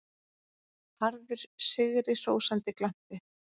Harður, sigrihrósandi glampi.